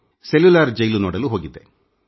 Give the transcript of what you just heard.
cellular Jail ನೋಡಲು ಅಲ್ಲಿಗೆ ಹೋಗಿದ್ದೆ